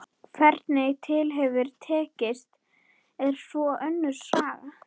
Hvernig til hefur tekist er svo önnur saga.